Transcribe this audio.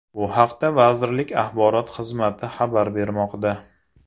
Bu haqda vazirlik axborot xizmati xabar bermoqda .